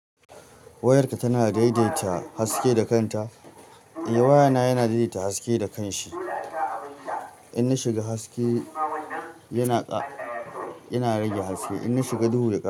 Wayarka tana daidaita haske da kanta? Eh wayana yana daidaita haske da kanshi. In na shiga haske yana ƙa, yana rage haske in na shiga duhu da ƙa.